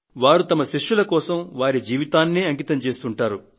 వారు వారి శిష్యుల కోసం వారి జీవితాన్నే అంకితం చేస్తుంటారు